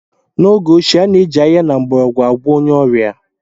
N'oge ochie, a na-eji ahịhịa na mgbọrọgwụ agwọọ onye ọrịa.